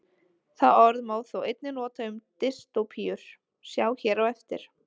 Það orð má þó einnig nota um dystópíur, sjá hér á eftir.